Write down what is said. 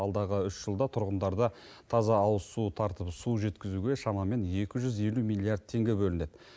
алдағы үш жылда тұрғындарда таза ауызсу тартып су жеткізуге шамамен екі жүз елу миллиард теңге бөлінеді